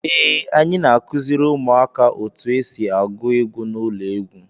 Ee, anyị na-akụziri ụmụaka otu esi agụ egwu n'ụlọ egwu.